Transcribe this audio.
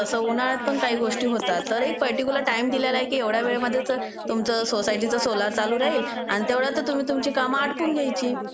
तसं उन्हाळ्यात पण काही गोष्टी होतात. तर एक पर्टिक्युलर टाईम दिलेला आहे की एवढाच वेळामध्ये तुमचा सोसायटीचा सोलर चालू राहील अन तेवढ्यातच तुम्ही तुमची काम आटपून घ्यायची.